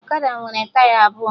Ọkada nwere taya abụọ